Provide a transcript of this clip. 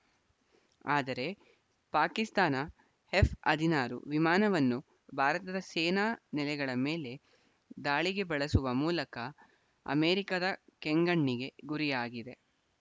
ಆದರೆ ಪಾಕಿಸ್ತಾನ ಎಫ್‌ ಹದಿನಾರು ವಿಮಾನವನ್ನು ಭಾರತದ ಸೇನಾ ನೆಲೆಗಳ ಮೇಲೆ ದಾಳಿಗೆ ಬಳಸುವ ಮೂಲಕ ಅಮೆರಿಕದ ಕೆಂಗಣ್ಣಿಗೆ ಗುರಿಯಾಗಿದೆ